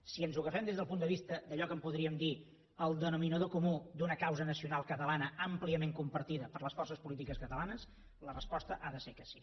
si ens ho agafem des del punt de vista d’allò que en podríem dir el denominador comú d’una causa nacional catalana àmpliament compartida per les forces polítiques catalanes la resposta ha de ser que sí